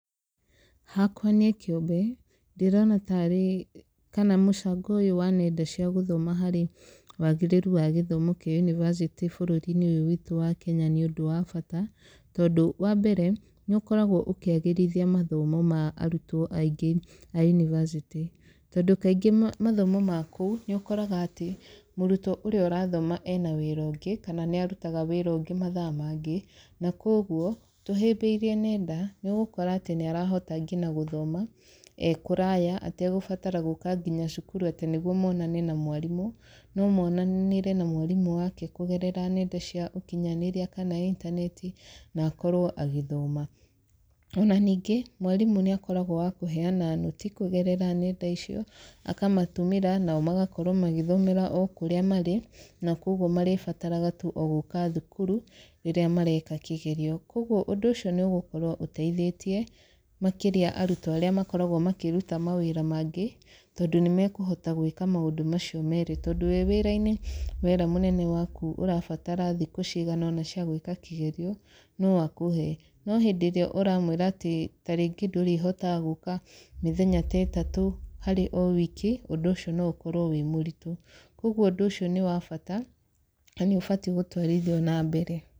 Hakwa niĩ kĩũmbe, ndĩrona ta arĩ kana mũcango ũyũ wa nenda cia gũthoma harĩ wagĩrĩru wa gĩthomo kĩa yubacĩtĩ bũrũri-inĩ ũyũ witũ wa Kenya nĩ ũndũ wa bata. Tondũ, wa mbere, nĩ ũkoragwo ũkĩagĩrithia mathomo ma arutwo aingĩ a yunibacĩtĩ. Tondũ kaingĩ mathomo ma kũu, nĩ ũkoraga atĩ, mũrutwo ũrĩa ũrathoma ena wĩra ũngĩ, kana nĩ arutaga wĩra ũngĩ mathaa mangĩ, na kũguo, tũhĩmbĩirie nenda, nĩ ũgũkora atĩ nĩ arahota ngina gũthoma ee kũraya, ategũbatara gũũka nginya cukuru atĩ nĩguo monane na mwarimũ. No monanĩre na mwarimũ wake kũgerera nenda cia ũkinyanĩria kana intaneti, na akorwo agĩthoma. Ona ningĩ, mwarimũ nĩ akoragwo wa kũheana nũti kũgerera nenda icio, akamatũmĩra, nao magakorwo magĩthomera o kũrĩa marĩ, na kũguo marĩbataraga tu o gũka thukuru rĩrĩa mareka kĩgerio. Kũguo ũndũ ũcio nĩ ũgũkorwo ũteithĩtie makĩria arutwo arĩa makoragwo makĩruta mawĩra mangĩ, tondũ nĩ mekũhota gwĩka maũndũ macio meerĩ. Tondũ wĩ wĩra-inĩ wera mũnene waku ũrabatara thikũ cigana ũna cia gwĩka kĩgerio, no akũhe. No hĩndĩ ĩrĩa ũramwĩra atĩ tarĩngĩ ndũrĩhotaga gũka mĩthenya ta ĩtatũ harĩ o wiki, ũndũ ũcio no ũkorwo wĩ mũritũ. Koguo ũndũ ũcio nĩ wa bata, na nĩ ũbatiĩ gũtwarithio na mbere.